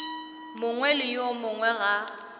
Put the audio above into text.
mongwe le yo mongwe ga